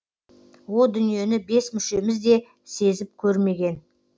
о дүниені бес мүшеміз де сезіп көрмеген